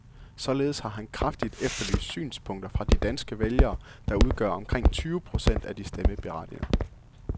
Således har han kraftigt efterlyst synspunkter fra de danske vælgere, der udgør omkring tyve procent af de stemmeberettigede.